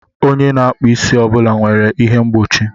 Onye na-akpụ isi ọ bụla nwere ihe mgbochi.